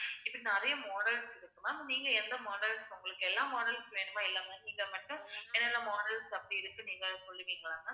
இப்படி நிறைய models இருக்கு ma'am நீங்க எந்த models உங்களுக்கு எல்லா models வேணுமோ, எல்லாமே நீங்க மட்டும் என்னென்ன models அப்படி இருக்குன்னு, நீங்க சொல்லுவீங்களா ma'am